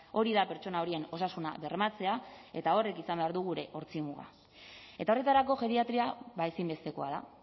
hori da pertsona horien osasuna bermatzea eta horrek izan behar du gure ortzi muga eta horretarako geriatria ezinbestekoa da